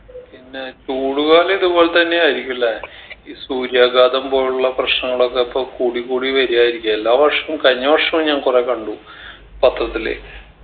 പിന്നെ ചൂടുകാലം ഇതുപോലെത്തന്നെ ആയിരിക്കും ല്ലെ ഈ സൂര്യാഘാതം പോലുള്ള പ്രശ്നനങ്ങളൊക്കെ അപ്പൊ കൂടി കൂടി വരുആയിരിക്കു എല്ലാ വർഷവും കഴിഞ്ഞ വർഷവും ഞാൻ കൊറേ കണ്ടു പത്രത്തില്